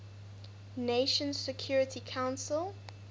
nations security council